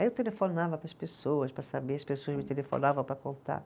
Aí eu telefonava para as pessoas, para saber, as pessoas me telefonavam para contar.